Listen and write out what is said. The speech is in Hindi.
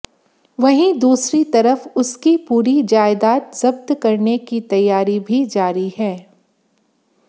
वहीं दूसरी तरफ उसकी पूरी जायदाद जब्त करने की तैयारी भी जारी है